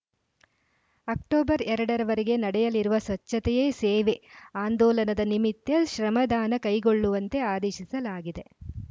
October ಎರಡ ರವರೆಗೆ ನಡೆಯಲಿರುವ ಸ್ವಚ್ಛತೆಯೇ ಸೇವೆ ಆಂದೋಲನದ ನಿಮಿತ್ತ ಶ್ರಮದಾನ ಕೈಗೊಳ್ಳುವಂತೆ ಆದೇಶಿಸಲಾಗಿದೆ